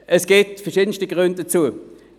Es gibt verschiedenste Gründe dafür.